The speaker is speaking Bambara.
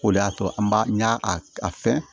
O de y'a to an b'a n y'a a fɛn